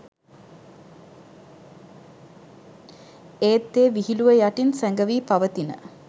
ඒත් ඒ විහිළුව යටින් සැඟවී පවතින